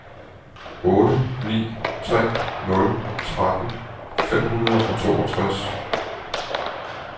otte ni tre nul tretten fem hundrede og toogtres